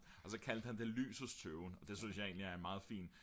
og så kaldte han det lysets tøven og det synes jeg egentlig er en meget fin